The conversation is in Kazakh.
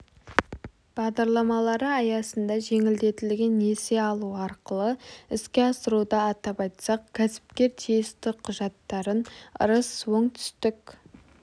бағдарламалары аясында жеңілдетілген несие алу арқылы іске асыруда атап айтсақ кәсіпкер тиісті құжаттарын ырыс оңтүстік